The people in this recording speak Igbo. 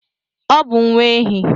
Ọ bụ nwa ehi.